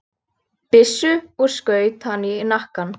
byssu og skaut hann í hnakkann.